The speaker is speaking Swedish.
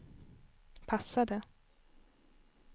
passade